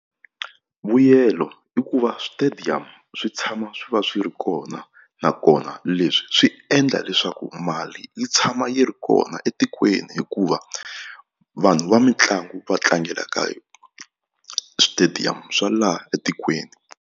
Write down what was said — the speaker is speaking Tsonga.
Vuyelo i ku va switediyamu swi tshama swi va swi ri kona nakona leswi swi endla leswaku mali yi tshama yi ri kona etikweni hikuva vanhu va mitlangu va tlangela ka yona switediyamu swa laha etikweni.